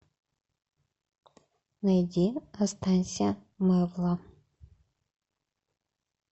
найди останься мэвла